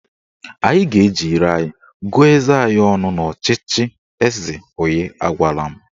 Anyị ga-eji ire anyị gụọ eze anyị ọnụ n'ọchịchị eze onye agwala m